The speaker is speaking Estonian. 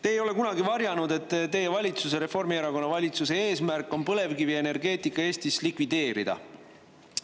Te ei ole kunagi varjanud, et teie valitsuse, Reformierakonna valitsuse eesmärk on põlevkivienergeetika Eestis likvideerida.